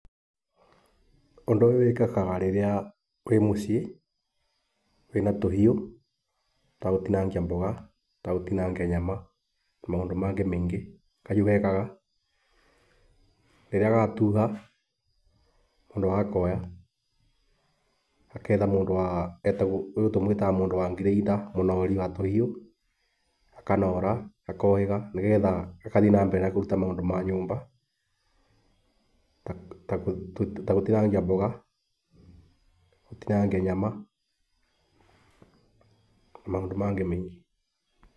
Ũndũ ũyũ wĩkĩkaga rĩrĩa wĩ mũciĩ wĩna tũhiũ twa gũtinangia mboga kana gũtinangia nyama na maũndũ mangĩ maingĩ kahiũ gekaga. Rĩrĩa gatuha mũndũ agakoya agetha mũndũ ũyũ tũmũĩtaga mũndũ wa grĩinda, mũnori wa tũhiũ, akanora gakohĩga nĩgetha gagathiĩ na mbere na kũruta maũndũ ma nyũmba ta gũtinangia mboga, gũtinangia nyama na maũndũ mangĩ maingĩ.